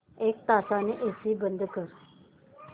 एक तासाने एसी बंद कर